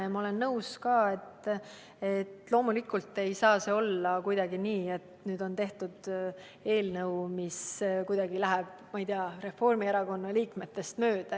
Ja ma olen nõus, et loomulikult ei saa olla kuidagi nii, et nüüd on tehtud eelnõu, mis kuidagi läheb Reformierakonna liikmetest mööda.